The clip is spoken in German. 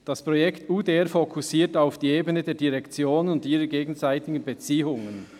«Das Projekt UDR fokussiert auf die Ebene der Direktionen und ihrer gegenseitigen Beziehungen.